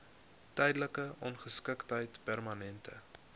tydelike ongeskiktheid permanente